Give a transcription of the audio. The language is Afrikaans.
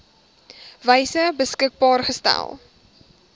wyse beskikbaar gestel